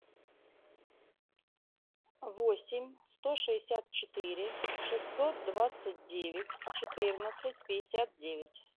восемь сто шестьдесят четыре шестьсот двадцать девять четырнадцать пятьдесят девять